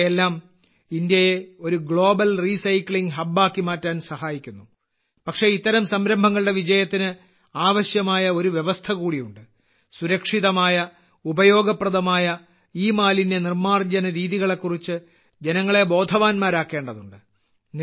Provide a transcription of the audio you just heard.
ഇവയെല്ലാം ഇന്ത്യയെ ഒരു ഗ്ലോബൽ റീസൈക്ലിംഗ് ഹബ്ബാക്കി മാറ്റാൻ സഹായിക്കുന്നു പക്ഷേ ഇത്തരം സംരംഭങ്ങളുടെ വിജയത്തിന് ആവശ്യമായ ഒരു വ്യവസ്ഥ കൂടിയുണ്ട് സുരക്ഷിതമായ ഉപയോഗപ്രദമായ ഇമാലിന്യ നിർമാർജന രീതികളെക്കുറിച്ച് ജനങ്ങളെ ബോധവാന്മാരാക്കേണ്ടതുണ്ട്